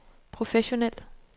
professionel